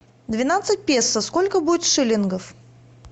двенадцать песо сколько будет шиллингов